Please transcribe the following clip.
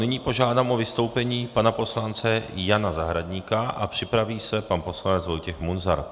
Nyní požádám o vystoupení pana poslance Jana Zahradníka a připraví se pan poslanec Vojtěch Munzar.